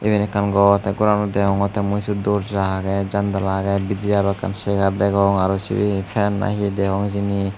iben ekkan gor te goranot degongotte mui dorja agey jandala agey bidire aro ekkan segar degong aro sibey he fan nahi degong hijeni.